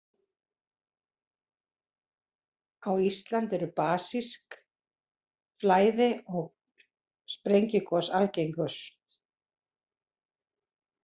Á Íslandi eru basísk flæði- og sprengigos algengust.